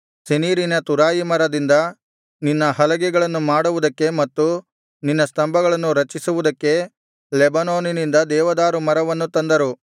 ಸೆನೀರಿನ ತುರಾಯಿ ಮರದಿಂದ ನಿನ್ನ ಹಲಗೆಗಳನ್ನು ಮಾಡುವುದಕ್ಕೆ ಮತ್ತು ನಿನ್ನ ಸ್ತಂಭವನ್ನು ರಚಿಸುವುದಕ್ಕೆ ಲೆಬನೋನಿನಿಂದ ದೇವದಾರು ಮರವನ್ನು ತಂದರು